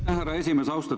Aitäh, härra esimees!